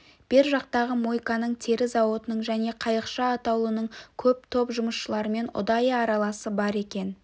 бер жақтағы мойканың тері зауытының және қайықша атаулының көп топ жұмысшыларымен ұдайы араласы бар екен